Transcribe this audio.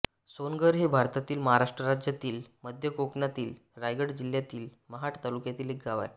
सोनघर हे भारतातील महाराष्ट्र राज्यातील मध्य कोकणातील रायगड जिल्ह्यातील महाड तालुक्यातील एक गाव आहे